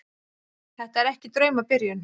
Þetta er ekki draumabyrjun.